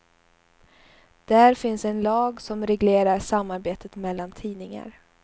Där finns en lag som reglerar samarbetet mellan tidningar.